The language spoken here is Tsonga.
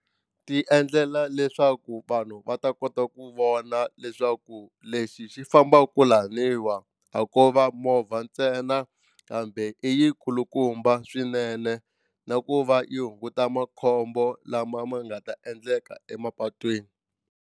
Ti endlela leswaku vanhu va ta kota ku vona leswaku lexi xi fambaka laniwa a ko va movha ntsena kambe i yikulukumba swinene na ku va yi hunguta makhombo lama ma nga ta endleka emapatwini.